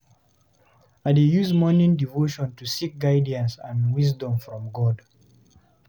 I dey use morning devotion to seek guidance and wisdom from God.